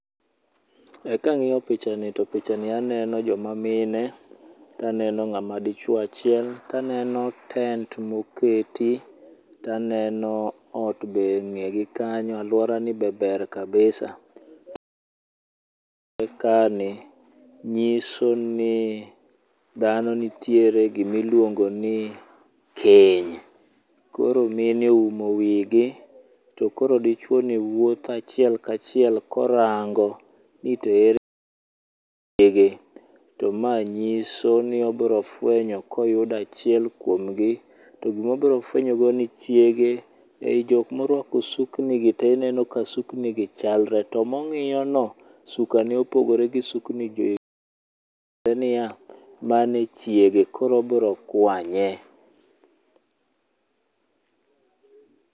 Ee kang'iyo pichani to pichani aneno joma mine, to aneno ng'ama dichuo achiel, to aneno tent be moketi to aneno ot be eng'egi kanyo aluorani be ber kabisa. Ekani nyiso kaa ni dhano nitie e gima iluongo ni Keny. Koro mine oumo wigi, to kor dichuoni wuotho achiel kachiel korango nito ere chiege. To ma nyiso ni obiro fuenyo ka oyudo achiel kuom gi to gima obiro fuenyo go chiege ei jok moruako suknigi, to ineno ka suknigi chalre to mong'iyono, sukane opogore gi sukni gi. Tiende niya, mano e chiege. Koero obiro kwanye